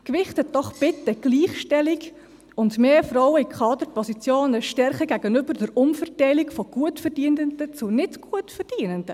Gewichten Sie doch bitte die Gleichstellung und mehr Frauen in Kaderpositionen stärker als die Umverteilung von Gutverdienenden zu Nichtgutverdienenden.